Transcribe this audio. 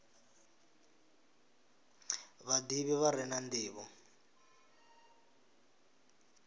vhadivhi vha re na ndivho